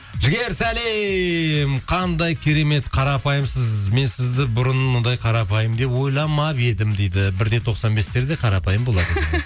жігер сәлем қандай керемет қарапайымсыз мен сізді бұрын мұндай қарапайым деп ойламап едім дейді бір де тоқсан бестер де қарапайым болады екен